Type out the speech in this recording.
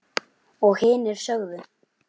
Og hinir sögðu